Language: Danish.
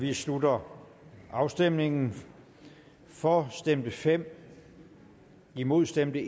vi slutter afstemningen for stemte fem imod stemte